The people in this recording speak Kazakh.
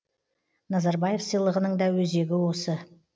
назарбаев сыйлығының да өзегі осы